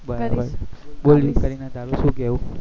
બરાબર બોલ કરીના તારું શું કેવું